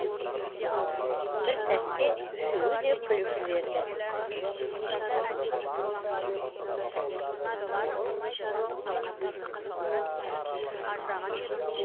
бір сәтте үшеуі де күліп жіберді